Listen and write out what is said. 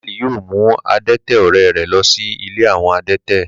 Dáníẹ́lì yóò mú adẹ́tẹ̀ ọ̀rẹ́ rẹ̀ lọ sí ilé àwọn adẹ́tẹ̀